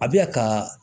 A bɛ ya ka